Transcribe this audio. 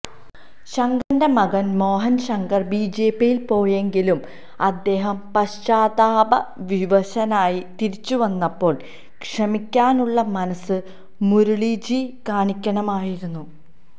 ശങ്കറിന്റെ മകൻ മോഹൻ ശങ്കർ ബിജെപിയിൽ പോയെങ്കിലും അദ്ദേഹം പശ്ചാത്താപവിവശനായി തിരിച്ചുവന്നപ്പോൾ ക്ഷമിക്കാനുള്ള മനസ്സ് മുരളിജി കാണിക്കണമായിരുന്നു